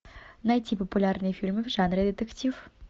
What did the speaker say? найти популярные фильмы в жанре детектив